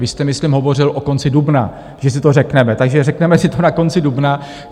Vy jste myslím hovořil o konci dubna, že si to řekneme, takže řekneme si to na konci dubna.